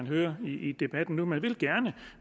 høre i debatten nu man vil gerne